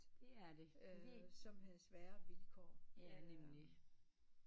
Som havde svære vilkår